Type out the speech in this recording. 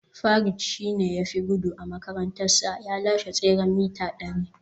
Farid shi ne ya fi gudu a makarantarsa, ya lashe tseren mita dari